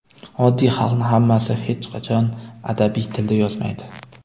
oddiy xalqni hammasi hech qachon adabiy tilda yozmaydi.